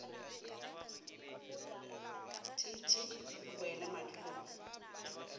t t e boele madulong